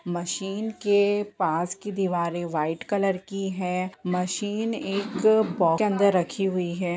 Machine के पास की दीवारें वाइट कलर की हैं। मशीन एक बॉक्स के अंदर रखी हुई है।